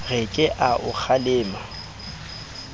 re ke a o kgalema